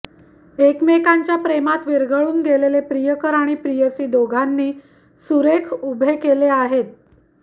एकमेकांच्या प्रेमात विरघळुन गेलेले प्रियकर आणि प्रेयसी दोघांनी सुरेख उभे केले आहेत